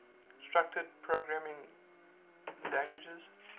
structured programming languages